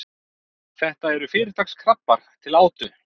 þetta eru fyrirtaks krabbar til átu